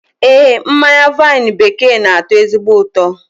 Ee, mmanya vaịnụ bekee n'atọ ezigbo ụtọ